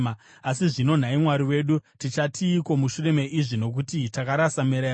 “Asi zvino, nhai Mwari wedu, tichatiiko mushure meizvi? Nokuti takarasa mirayiro